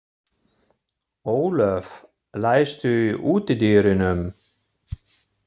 Ólöf, læstu útidyrunum.